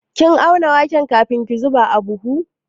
Kin auna waken kafin ki zuba a buhu?